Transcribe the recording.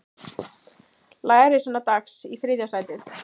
Lærisveinar Dags í þriðja sætið